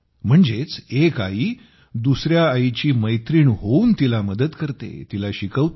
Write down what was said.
म्हणजेच एक आई दुसऱ्या आईची मैत्रीण होऊन तिला मदत करते तिला शिकवते